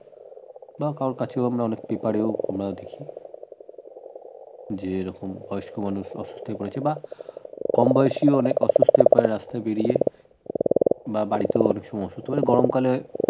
বা কারো কাছে আমরা অনেক পেপারেও আমরা দেখি যে এই রকম বয়স্ক মানুষ অসুস্থ হয়ে পড়েছে বা কম বয়সী অনেক অসুস্থ হয়ে পরে রাস্তায় বেরিয়ে বা বাড়িতেও অনেক সময় অসুস্থ হয়ে পরে গরম কালে